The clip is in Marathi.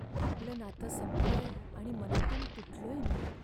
आपलं नातं संपलंय आणि मनातून तुटलोय मी.